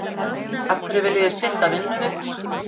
Af hverju viljið þið stytta vinnuvikuna?